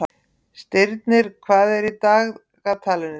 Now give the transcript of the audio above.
Stirnir, hvað er í dagatalinu í dag?